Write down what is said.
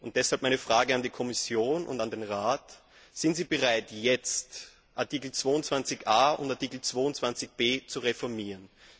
Deshalb meine Frage an die Kommission und an den Rat Sind Sie bereit, jetzt Artikel 22a und Artikel 22b zu reformieren?